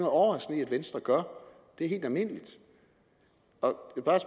overraskende i at venstre gør det er helt almindeligt